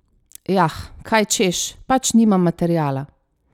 Jah, kaj češ, pač nimam materiala.